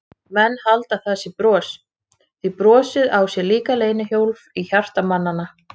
Menn halda að það sé bros, því brosið á sér líka leynihólf í hjarta mannanna.